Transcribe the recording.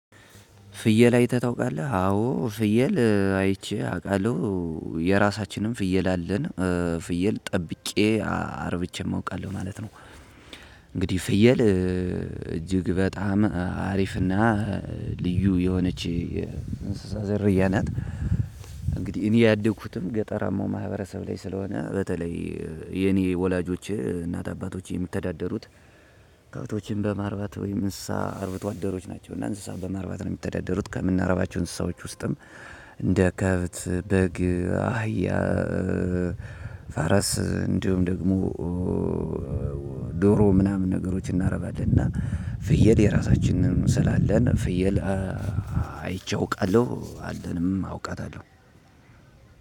ፍየል አይተህ ታውቃለህ አዎ ፍየል አይቼ አውቃለሁ የራሳችንን ፍየል አለን ፍየል ጠብቄ አረብቼም አውቃለሁ ማለት ነው። እንግዲህ ፍየል እጅግ በጣም አሪፍና ልዩ የሆነች እንስሳ ዘርያ ናት። እኔ ያደግኩትም ገጠራማው ማህበረሰብ ላይ ስለሆነ በተለይ የኔ ወላጆቼ እናት አባቶቼ የሚተዳደሩት እንስሳዎችን በማርባት ወይም እንስሳ አርብቶ አደሮች ናቸው። እንስሳውን በማርባት ነው የሚተዳደሩት ከምናረባቸው እንስሳዎች ውስጥም እንደ ከብት በግ አህያ ፋረስ እንዲሁም ደግሞ ዶሮ ምናምን ነገሮችን እናረባለን። እና ፍየል የራሳችንን ስላለ ፍየል አይቼው አውቃለሁ አለንም አውቃታለሁ።